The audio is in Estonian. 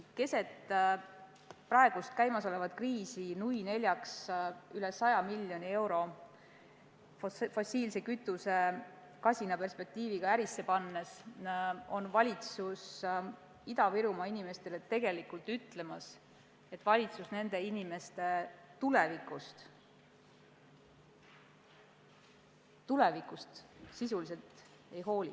Keset praegu käimasolevat kriisi nui neljaks üle 100 miljoni euro kasina perspektiiviga fossiilse kütuse ärisse pannes on valitsus Ida-Virumaa inimestele tegelikult ütlemas, et valitsus nende inimeste tulevikust sisuliselt ei hooli.